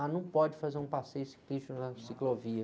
Ah, não pode fazer um passeio ciclístico na ciclovia.